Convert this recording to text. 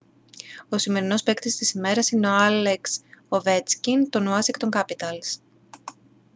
ο σημερινός παίκτης της ημέρας είναι ο άλεξ οβέτσκιν των ουάσιγκτον κάπιταλς